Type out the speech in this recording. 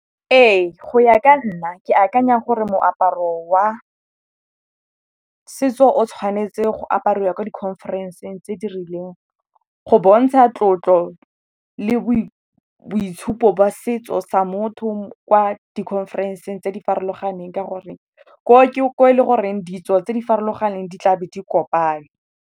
Ee, go ya ka nna ke akanya gore moaparo wa setso o tshwanetse go apariwa ko di-conference-ng tse di rileng. Go bontsha tlotlo le boitshupo ba setso sa motho kwa di-conference-ng tse di farologaneng ka gore ko go ke ko e le goreng ditso tse di farologaneng di tlabe di kopane.